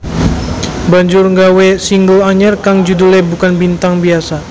banjur nggawe single anyar kang judhulé Bukan Bintang Biasa